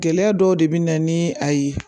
Gɛlɛya dɔw de bɛ na ni a ye